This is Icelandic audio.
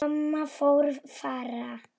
Mamma fór fram.